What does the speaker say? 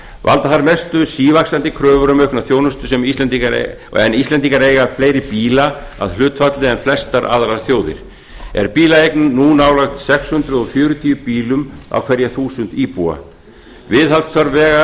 valda þar mestu sívaxandi kröfur um aukna þjónustu en íslendingar eiga fleiri bíla að hlutfalli en flestar aðrar þjóðir er bílaeign nú nálægt sex hundruð fjörutíu bílum á hverja þúsund íbúa viðhaldsþörf vega